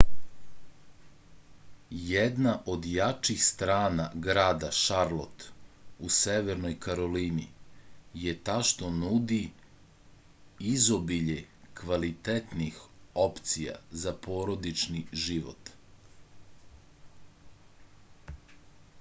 jedna od jačih strana grada šarlot u severnoj karolini je ta što nudi izobilje kvalitetnih opcija za porodični život